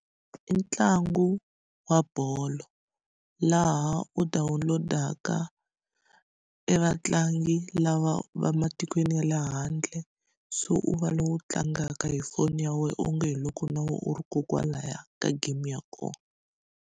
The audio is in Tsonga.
I ntlangu wa bolo laha u download-aka e vatlangi lava va matikweni ya le handle so u va lowu tlangaka hi foni ya wena u nge hi loko na wena u ri kokwalahaya ka game ya kona.